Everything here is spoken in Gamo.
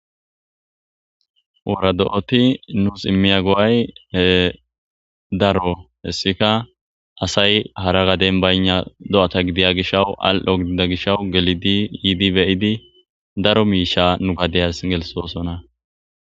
oora do7oti nuus immiya go7ay daro hessika asay hara gaden bayna do7ata gidiya gishawu al7o gidida gishawu gelidi yiidi beyidi daro miisha nu gadeyas gelsosona